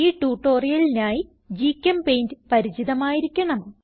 ഈ ട്യൂട്ടോറിയലിനായി ഗ്ചെമ്പെയിന്റ് പരിചിതമായിരിക്കണം